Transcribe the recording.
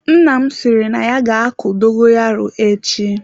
Nna m sịrị na ya ga-akụ dogoyaro echi.